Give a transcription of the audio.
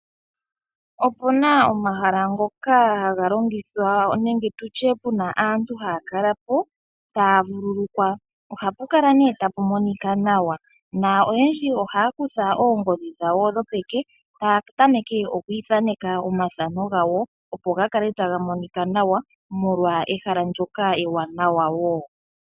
Opu na omahala ngoka haga longithwa nenge tu tye pu na aantu haya kala po taya vululukwa tapu monika nawa noyendji ohaya kutha oongodhi dhawo dhopeke e taya tameke oku ithaneka omathano gawo, opo ga kale taga monika nawa molwa ehala ewanawa wo.